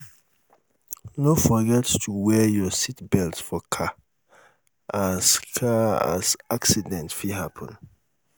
no um forget to um wear your seatbelt for car as car as accident fit happen